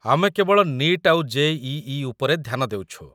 ଆମେ କେବଳ 'ନିଟ୍' ଆଉ ଜେ.ଇ.ଇ. ଉପରେ ଧ୍ୟାନ ଦେଉଛୁ ।